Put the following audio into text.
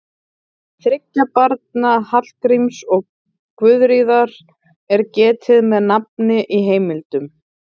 Þriggja barna Hallgríms og Guðríðar er getið með nafni í heimildum.